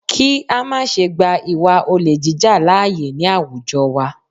Kí á má ṣe gba ìwà olè jíjà lááyè ní àwùjọ wa